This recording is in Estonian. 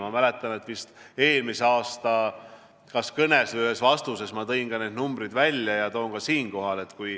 Ma mäletan, et eelmise aasta kas kõnes või ühes vastuses tõin ma need numbrid välja ja toon ka siinkohal.